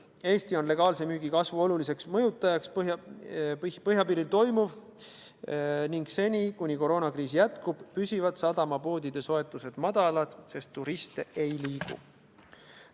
Eestis on legaalse müügi kasvu oluliseks mõjutajaks põhjapiiril toimuv ning seni, kuni koroonakriis jätkub, püsivad sadamapoodide soetused madalad, sest turiste ei liigu.